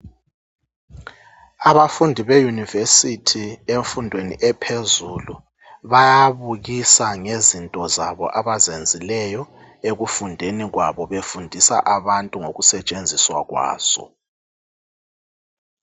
Abafundi beyunivesithi emfundweni ephezulu bayabukisa ngezinto zabo abazenzileyo ekufundeni kwabo befundisa abantu ngokusetshenziswa kwazo.